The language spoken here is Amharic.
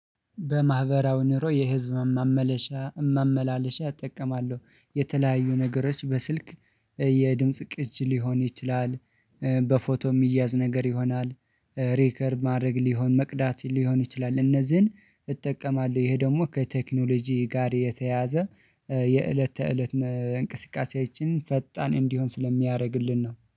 በማህበራዊ ኑሮ የህዝብ ማመላለሻ እጠቀማለሁ የተለያዩ ነገሮች በስልክ የድምጽ ቅጅ ሊሆን ይችላል፤ በፎቶ የሚያዝ ነገር ይሆናል፤ ሪከርድ ማድረግ ሊሆን፤ መቅዳት ሊሆን ይችላል፤ እነዚህን እጠቀማለሁ። ይሄ ደግሞ ከቴክኖሎጂ ጋር የተያዘ የእለት ተእለት እንቅስቃሴዎችን ፈጣን እንዲሆን ስለሚያደርግልን ነው።